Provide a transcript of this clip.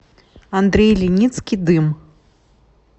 андрей леницкий дым